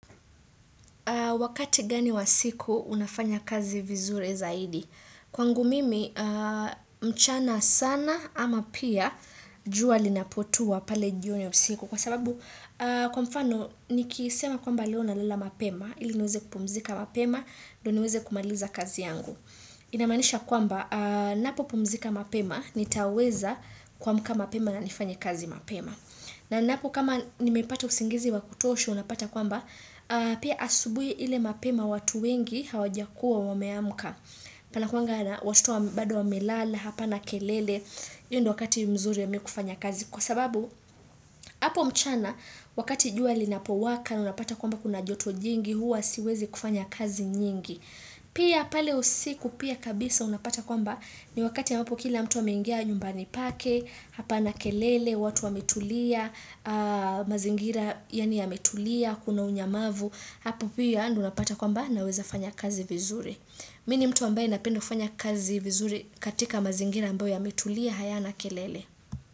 Wakati gani wa siku unafanya kazi vizuri zaidi? Kwangu mimi, mchana sana ama pia jua linapotua pale jioni ya siku. Kwa sababu, kwa mfano, nikisema kwamba leo nalala mapema, ili niweze kupumzika mapema, ndio niweze kumaliza kazi yangu. Inamaanisha kwamba, napopumzika mapema, nitaweza kuamka mapema na nifanye kazi mapema. Na ninapo kama nimepata usingizi wa kutosha unapata kwamba, pia asubuhi ile mapema watu wengi hawajakuwa wameamka. Pana kuanga na watoto bado wamelala, hapana kelele, hiyo ndio wakati mzuri ya mi kufanya kazi. Kwa sababu, hapo mchana, wakati jua linapowaka, unapata kwamba kuna joto jingi, huwa siwezi kufanya kazi nyingi. Pia pale usiku, pia kabisa unapata kwamba ni wakati ambapo kila mtu ameingia nyumbani pake, hapana kelele, watu wametulia, mazingira yaani yametulia, kuna unyamavu, hapo pia ndio unapata kwamba naweza fanya kazi vizuri. Mi ni mtu ambaye napenda kufanya kazi vizuri katika mazingira ambayo yametulia, hayana kelele.